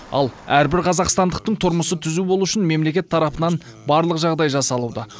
ал әрбір қазақстандықтың тұрмысы түзу болуы үшін мемлекет тарапынан барлық жағдай жасалуда